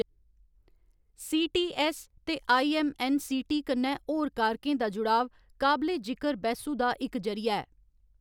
C. T. S. ते I. M. N. C. T. कन्नै होर कारकें दा जुड़ाव काबले जिकर बैह्‌‌सू दा इक जरि'या ऐ।